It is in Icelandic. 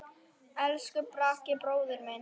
Elsku Bragi bróðir minn.